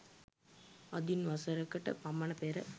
අදින් වසර කට පමණ පෙර